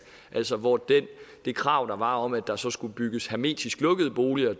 altså hvor det det krav der var om at der så skulle bygges hermetisk lukkede boliger